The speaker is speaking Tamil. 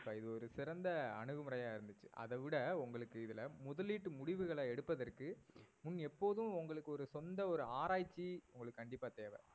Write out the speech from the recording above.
இது ஒரு சிறந்த அணுகுமுறையா இருந்துச்சு அதைவிட உங்களுக்கு இதுல முதலீட்டு முடிவுகளை எடுப்பதற்கு முன் எப்போதும் உங்களுக்கு ஒரு சொந்த ஒரு ஆராய்ச்சி உங்களுக்கு கண்டிப்பா தேவை